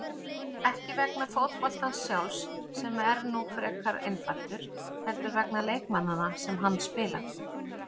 Ekki vegna fótboltans sjálfs, sem er nú frekar einfaldur, heldur vegna leikmanna sem hann spila.